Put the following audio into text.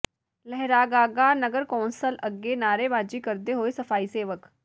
ਲਹਿਰਾਗਾਗਾ ਨਗਰ ਕੌਂਸਲ ਅੱਗੇ ਨਾਅਰੇਬਾਜ਼ੀ ਕਰਦੇ ਹੋਏ ਸਫਾਈ ਸੇਵਕ